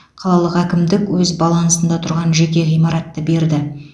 қалалық әкімдік өз балансында тұрған жеке ғимаратты берді